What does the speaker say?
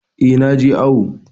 Eh, naje awu